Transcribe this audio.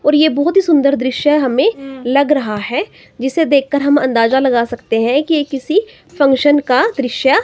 और ये बहुत ही सुंदर दृश्य हमें हम्म लग रहा है जिसे देखकर हम अंदाजा लगा सकते हैं कि ये किसी फंक्शन का दृश्य--